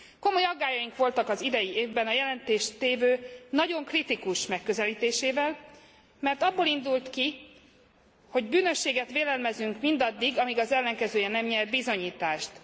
Komoly aggályaink voltak az idei évben a jelentéstévő nagyon kritikus megközelítésével, mert abból indult ki, hogy bűnösséget vélelmezünk mindaddig, amíg az ellenkezője nem nyert bizonyítást.